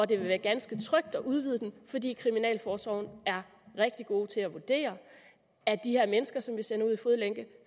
det vil være ganske trygt at udvide den fordi kriminalforsorgen er rigtig gode til at vurdere at de her mennesker som vi sender ud i fodlænke